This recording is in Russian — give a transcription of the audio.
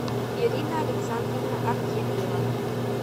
ирина александровна артемьева